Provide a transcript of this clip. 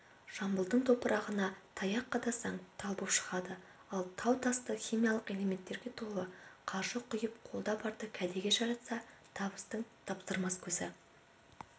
жамбылдың топырағына таяқ қадасаң тал боп шығады ал тау-тасы химиялық элементтерге толы қаржы құйып қолда барды кәдеге жаратса табыстың таптырмас көзі